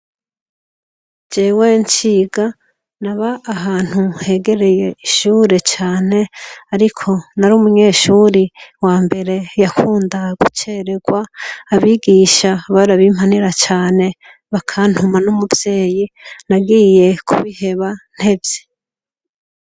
Jewe nciga, naba ahantu hegereye ishure cane, ariko nari umunyeshure wa mbere yakunda gucererwa, abigisha barabimpanira cane bakantuma n'umuvyeyi, nagiye kubiheba ntevye.